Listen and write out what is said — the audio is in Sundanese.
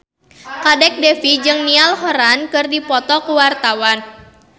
Kadek Devi jeung Niall Horran keur dipoto ku wartawan